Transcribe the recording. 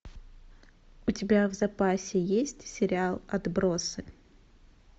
у тебя в запасе есть сериал отбросы